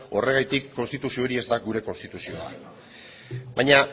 horregatik konstituzio hori ez da gure konstituzioa baina